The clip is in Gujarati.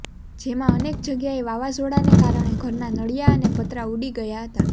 જેમાં અનેક જગ્યાએ વાવાઝોડાને કારણે ઘરના નળીયા અને પતરા ઉડી ગયા હતા